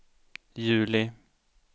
juli